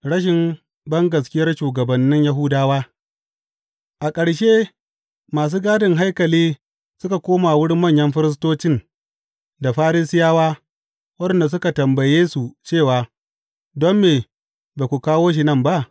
Rashin bangaskiyar shugabannin Yahudawa A ƙarshe masu gadin haikali suka koma wurin manyan firistocin da Farisiyawa, waɗanda suka tambaye su cewa, Don me ba ku kawo shi nan ba?